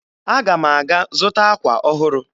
Aga m aga zụta akwa ọhụrụ